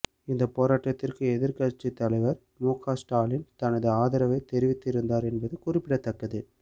இந்த போராட்டத்திற்கு எதிர்க்கட்சி தலைவர் முக ஸ்டாலின் தனது ஆதரவை தெரிவித்திருந்தார் என்பது குறிப்பிடத்தக்கது